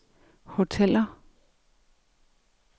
hoteller